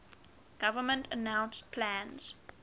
government announced plans